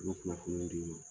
Olu bɛ kunnafoni bɛɛ di n ma.